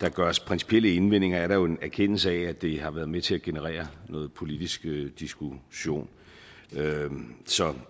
der gøres principielle indvendinger er der en erkendelse af at det har været med til at generere noget politisk diskussion så